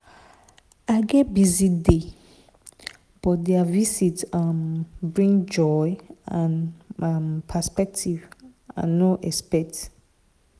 i get busy day but their visit um bring joy and um perspective i no expect.